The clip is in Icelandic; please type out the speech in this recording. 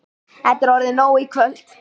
Þetta er orðið nóg í kvöld.